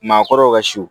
Maakɔrɔw ka su